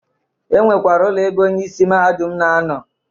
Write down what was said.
E nwekwere ụlọ ebe onye isi mahadum na-anọ